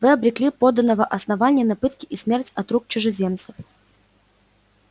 вы обрекли подданого основания на пытки и смерть от рук чужеземцев